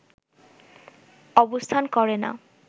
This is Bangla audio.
অবস্থান করে না